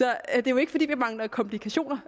er jo ikke fordi vi mangler komplikationer